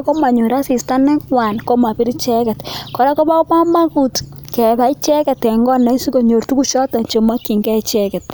akomanyor asista negwan koraa Koba kamanut koraa ngebai icheken sikobit kebai kenyor chigei tugug chemakingei icheket